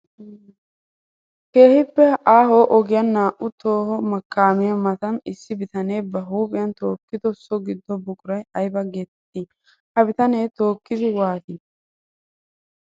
Keehippe aaho ogiyan naa'u toho kaamiya matan issi bitane ba huuphiyan tookkiddo so gido buquray aybba geetetti? Ha bitane tookiiddi waati?